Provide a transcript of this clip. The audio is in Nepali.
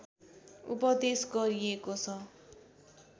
उपदेश गरिएको छ